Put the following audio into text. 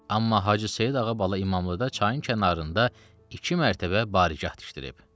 Amma Hacı Seyid Ağa bala İmamlıda çayın kənarında iki mərtəbə barigah tikdirib.